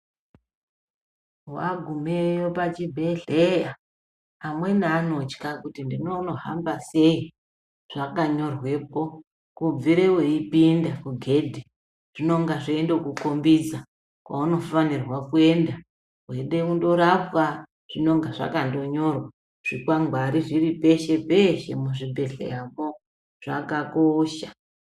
Wagumeyo pachibhedhleya amweni anotya kuti ndinonohamba sei zvakanyorwepo kubvire weipinda kugedhi zvinonge zveindokukombidza kwaunofanirwa kuenda weida kundorapwa zvinonge zvakandonyorwa. Zvikwangwari zviri peshe peshe muzvibhedhleyamwo zvakakosha.